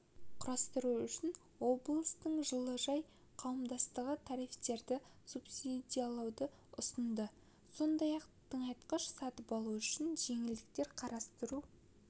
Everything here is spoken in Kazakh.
құрықтау үшін облыстың жылыжай қауымдастығы тарифтерді субсидиялауды ұсынды сондай-ақ тыңайтқыш сатып алу үшін жеңілдіктер қарастыру